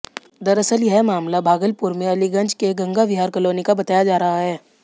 दरअसल यह मामला भागलपुर में अलीगंज के गंगा विहार कॉलोनी का बताया जा रहा है